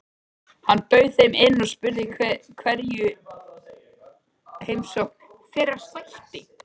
Hann bauð þeim inn og spurði hverju heimsókn þeirra sætti.